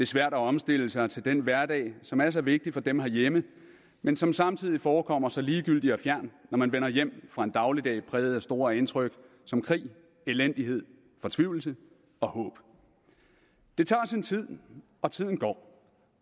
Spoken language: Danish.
svært at omstille sig til den hverdag som er så vigtig for dem herhjemme men som samtidig forekommer så ligegyldig og fjern når man vender hjem fra en dagligdag præget af store indtryk som krig elendighed fortvivlelse og håb det tager sin tid og tiden går